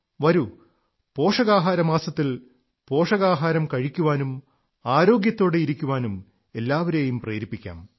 വരൂ പോഷകാഹാരമാസത്തിൽ പോഷകാഹാരം കഴിക്കാനും ആരോഗ്യത്തോടെ ഇരിക്കാനും എല്ലാരെയും പ്രേരിപ്പിക്കാം